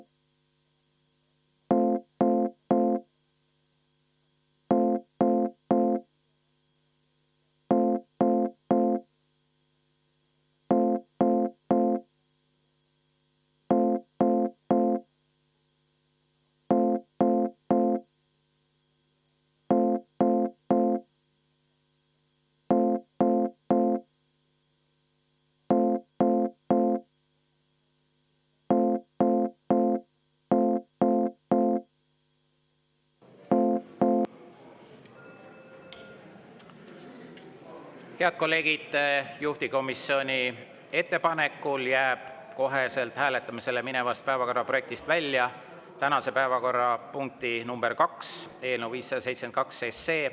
Head kolleegid, juhtivkomisjoni ettepanekul jääb kohe hääletamisele minevast päevakorraprojektist välja tänane päevakorrapunkt nr 2, eelnõu 572.